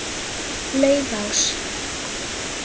Laufás